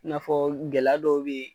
I n'a ɔ gɛlɛ dɔw bɛ yen.